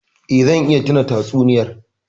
Eh, zan iya tuna tatsuniyar.